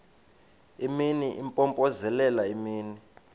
imini impompozelela imini